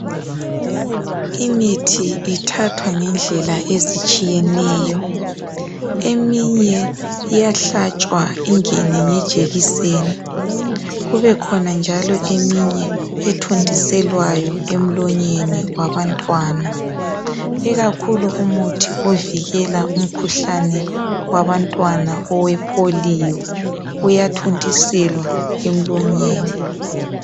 Imithi ithathwa ngendlela ezitshiyeneyo, eminye iyahlatshwa ingene ngejekiseni kubekhona njalo eminye ethontiselwayo emlonyeni wabantwana. Ikakhulu umuthi ovikela umkhuhlane wabantwana owepolio, uyathontiselwa emlonyeni.